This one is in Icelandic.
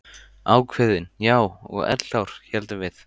Ákveðin, já, og eldklár, héldum við.